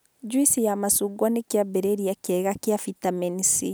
Njuici ya macungwa nĩ kĩambĩrĩria kĩega kĩa bitameni C